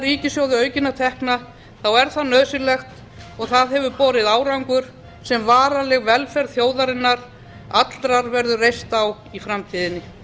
ríkissjóði aukinna tekna þá er það nauðsynlegt og það hefur borið árangur sem varanleg velferð þjóðarinnar allrar verður reist á í framtíðinni